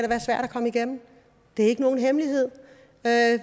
komme igennem det er ikke nogen hemmelighed